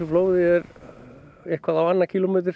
flóðinu er á annan kílómetra